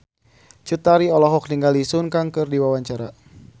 Cut Tari olohok ningali Sun Kang keur diwawancara